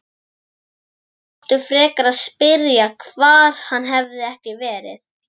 Þau áttu frekar að spyrja hvar hann hefði ekki verið.